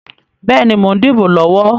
Bẹ́ẹ̀ni, mo ń dìbò lọ́wọ́.